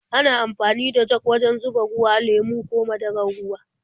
Ana amfani da jag wajen zuba ruwa, lemo ko madarar ruwa.